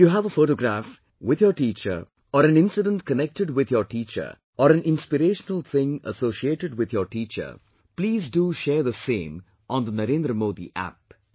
If you have a photograph with your teacher or an incident connected with your teacher or an inspirational thing associated with your teacher, please do share the same on NarendraModiApp